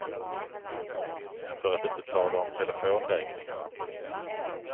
För att inte tala om telefonräkningarna.